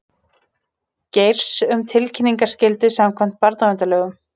Geirs um tilkynningaskyldu samkvæmt barnaverndarlögum